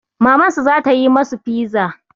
Mamansu za ta yi masu fiza.